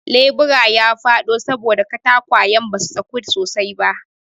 lebura ya faɗo saboda katakwayan basu saku sosai ba